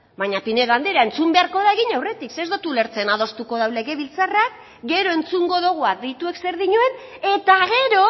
baina pinedo andrea entzun beharko da egin aurretik zeren ez dut ulertzen adostuko dau legebiltzarrak gero entzungo dugu adituek zer dioten eta gero